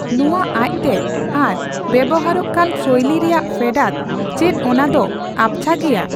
ᱱᱚᱣᱟ ᱟᱡᱽᱛᱮ ᱟᱨ ᱵᱮᱣᱦᱟᱨᱟᱚᱜ ᱠᱟᱱ ᱥᱳᱭᱞᱤ ᱨᱮᱭᱟᱜ ᱯᱷᱮᱰᱟᱛ ᱪᱮᱫ ᱚᱱᱟ ᱫᱚ ᱟᱵᱽᱪᱷᱟ ᱜᱮᱭᱟ ᱾